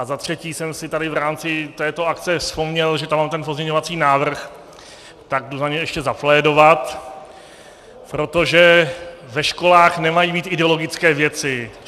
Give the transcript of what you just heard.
A za třetí jsem si tady v rámci této akce vzpomněl, že tam mám ten pozměňovací návrh, tak jdu za něj ještě zaplédovat, protože ve školách nemají být ideologické věci.